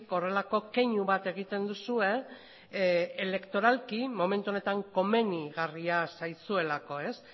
horrelako keinu bat egiten duzue elektoralki momentu honetan komenigarria zaizuelako